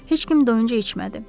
Heç kim doyunca içmədi.